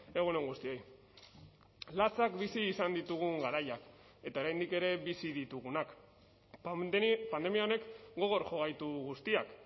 egun on guztioi latzak bizi izan ditugun garaiak eta oraindik ere bizi ditugunak pandemia honek gogor jo gaitu guztiak